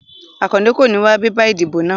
Akande kò ní wá bébà ìdìbò náà